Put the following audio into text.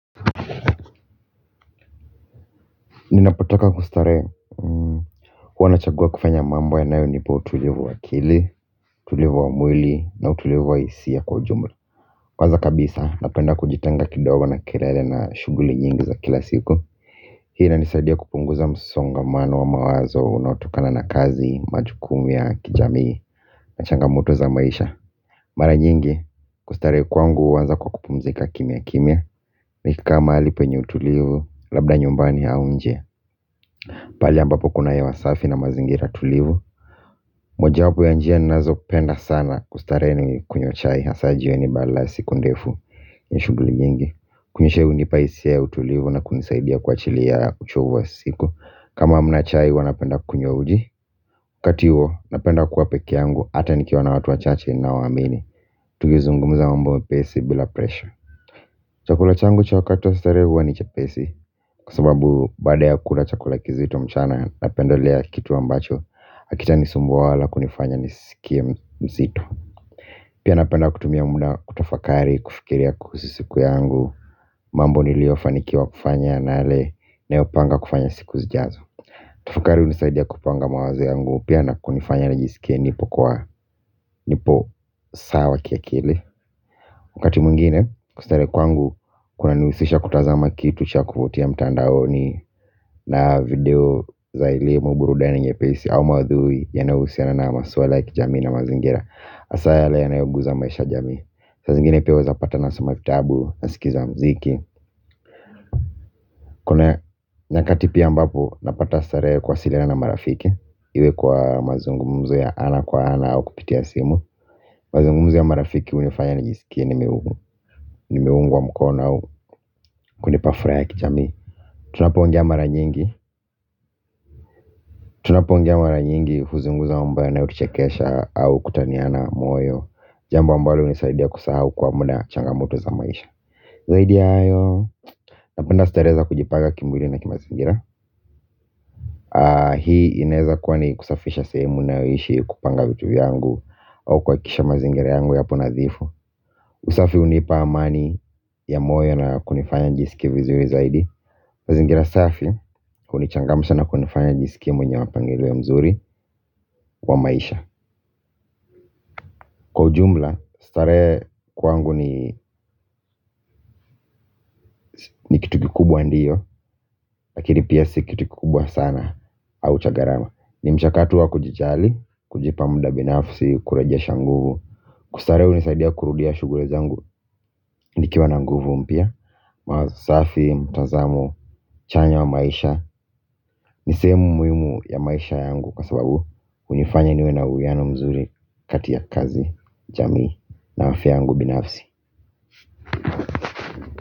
Ninapotaka kustarehe. Huwa na chagua kufanya mambo yanayo nipa utulivu wa akili. Utulivu wa mwili na utulivu wa hisia kwa ujumla kwanza kabisa napenda kujitenga kidogo na kelele na shughuli nyingi za kila siku. Hii ina nisaidia kupunguza msongamano wa mawazo unaotokana na kazi majukumu ya kijamii na changamoto za maisha. Mara nyingi kustarehe kwangu huanza kwa kupumzika kimya kimya. Nikikaa mahali penye utulivu labda nyumbani au nje. Pali ambapo kuna hewa safi na mazingira tulivu. Moja wapo ya njia ninazopenda sana kustarehe ni kunywa chai hasa jioni baada ya siku ndefu na shughuli nyingi. Kunywa chai hunipa hisia ya utulivu na kunisaidia kuachilia uchovu wa siku. Kama hamna chai huwa napenda kunywa uji waKati huo napenda kuwa pekee yangu hata nikiwa na watu wachache ni nao waamini. Tukizungumuza mambo mepesi bila presha. Chakula changu cha wakati wa starehe huwa ni chepesi. Kwa sababu baada ya kula chakula kizito mchana na pendelea kitu ambacho hakita ni sumbua wala kunifanya nisikie mzito. Pia napenda kutumia muda kutafakari kufikiria kuhusu siku yangu. Mambo niliyofanikiwa kufanya na yale nayopanga kufanya siku zijazo. Kutafakari hunisaidia kupanga mawazo yangu pia na kunifanya nijisikie nipo kwa nipo sawa ki akili wakati mwingine kustarehe kwangu kuna nihusisha kutazama kitu cha kuvutia mtandaoni. Na video za elimu burudani nyepesi au maudhui yanayohusiana na maswala ya kijamii na mazingira hasa yale yanayonguza maisha ya jamii. Saa zingine pia waweza pata na soma kitabu na sikiza muziki. Kuna nyakati pia ambapo napata starehe kuwasiliana na marafiki. Iwe kwa mazungumzu ya ana kwa ana au kupitia simu. Mazungumzo ya marafiki hunifanya nijisikie nimeungwa mkono au kunipa furaha ya kijamii. Tunapoongea mara nyingi tunapoongea mara nyingi huzungumza mambo yanayotuchekesha au kutaniana moyo. Jambo ambalo hunisaidia kusaha kwa muda changamoto za maisha. Zaidi ya hayo. Napenda starehe za kujipaga kimwili na kimazingira. Hii inaweza kuwa ni kusafisha sehemu nayoishi kupanga vitu vyangu. Au kuhakikisha mazingira yangu yapo nadhifu. Usafi hunipa amani ya moyo na kunifanya nijisikie vizuri zaidi. Mazingira safi hunichangamsha na kunifanya nijisikie mwenyo mapangiliou mzuri kwa maisha. Kwa ujumla, starehe kwangu ni ni kitu kikubwa ndio, lakini pia si kitu kikubwa sana au cha gharama ni mchakato wa kujijali, kujipa muda binafsi, kurejesha nguvu. Kustarehe hunisaidia kurudia shughuli zangu, nikiwa na nguvu mpya. Mawazo safi, mtazamo, chanya wa maisha. Ni sehemu muhimu ya maisha yangu kwa sababu hunifanya niwe na uwiano mzuri kati ya kazi, jamii, na afya yangu binafsi.